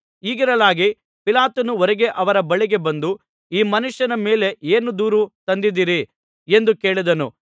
ಹೀಗಿರಲಾಗಿ ಪಿಲಾತನು ಹೊರಗೆ ಅವರ ಬಳಿಗೆ ಬಂದು ಈ ಮನುಷ್ಯನ ಮೇಲೆ ಏನು ದೂರು ತಂದಿದ್ದೀರಿ ಎಂದು ಕೇಳಿದನು